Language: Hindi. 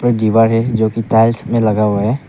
दीवारें जो की टाइल्स में लगा हुआ है।